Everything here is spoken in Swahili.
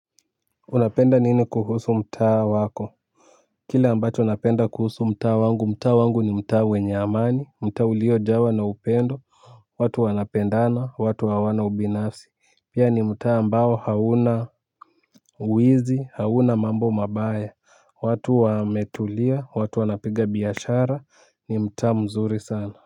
Unapenda nini kuhusu mtaa wako. Kile ambacho napenda kuhusu mtaa wangu mtaa wangu ni mtaa wenyeamani mtaa ulio jawa na upendo. Watu wanapendana watu hawana ubinafsi. Pia ni mtaa ambao hauna wizi hauna mambo mabaya watu wametulia watu wanapiga biashara ni mtaa mzuri sana.